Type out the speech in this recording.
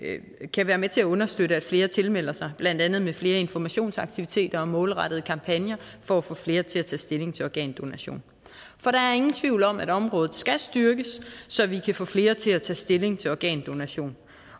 kan være med til at understøtte at flere tilmelder sig blandt andet med flere informationsaktiviteter og målrettede kampagner for at få flere til at tage stilling til organdonation for der er ingen tvivl om at området skal styrkes så vi kan få flere til at tage stilling til organdonation